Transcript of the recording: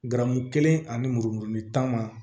Garamu kelen ani mururin tan ma